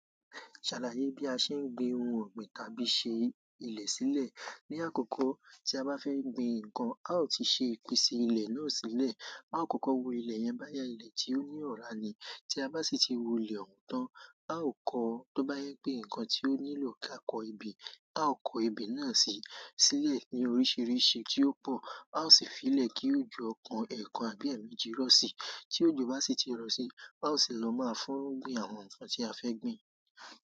Ṣàlàyé bí a ṣe ń gbin ohun ọ̀gbìn tàbí ṣe ilẹ̀ sílẹ̀. Ní àkọ́kọ́ tí a bá fẹ́ gbin nǹkan, a ó ti ṣe ìpèsè ilẹ̀ náà sílẹ̀. A ó kọ́kọ́ wo ilẹ̀ yẹn bóyá, ilẹ̀ tí ó ní ọ̀rá ni. Tí a bá sì ti wo ilẹ̀ ọ̀hún tán, a ó kọ tó bá jẹ́ pé nǹkan tí ó nílò ká kọ ebè, a ó kọ ebè náà si sílẹ̀ ní oríṣiríṣi tí ó pọ̀. A ó sì fi í lẹ̀ kí òjò ọ̀kan, ẹ̀kan àbí ẹ̀mejì rọ̀ síi. Tí òjò bá sì ti rọ̀ sí i, a ó sì lọ máa fúrú gbìn àwọn nǹkan tí a fẹ́ gbìn.